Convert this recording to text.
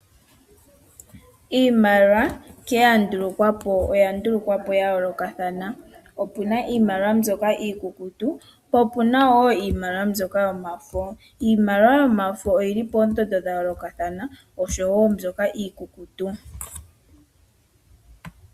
Iimaliwa oya ndulukwapo yayoolokathana . Opuna iimaliwa mbyoka iikukutu naambyoka yomafo. Iimaliwa yomafo oyili poondondo dhayoolokathana oshowoo mbyoka iikukutu.